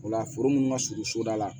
O la foro munnu ka surun soda la